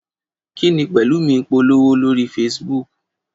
Kí ni Pẹ̀lúmi ń polówó lórí Facebook?